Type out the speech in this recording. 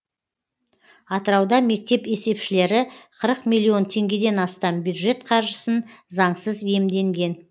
атырауда мектеп есепшілері қырық миллион теңгеден астам бюджет қаржысын заңсыз иемденген